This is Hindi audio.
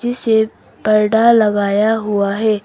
इसे परडा लगाया हुआ है।